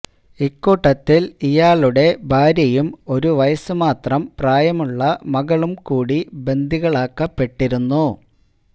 ഇക്കൂട്ടത്തിൽ ഇയാളുടെ ഭാര്യയും ഒരു വയസ് മാത്രം പ്രായമുള്ള മകളും കൂടി ബന്ദികളാക്കപ്പെട്ടിരുന്നു